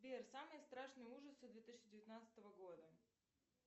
сбер самые страшные ужасы две тысячи девятнадцатого года